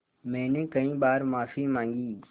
मैंने कई बार माफ़ी माँगी